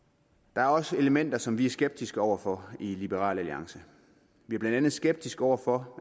der er også elementer som vi er skeptiske over for i liberal alliance vi er blandt andet skeptiske over for